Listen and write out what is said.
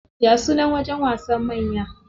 Ya sunan wajen wasan manya?